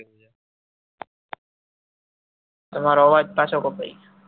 તમારો અવાજ પાસો કપાઈ ગયો